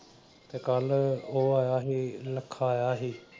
ਤੇ ਕੱਲ ਉਹ ਆਇਆ ਸੀ ਲੱਖਾ ਆਇਆ ਸੀ।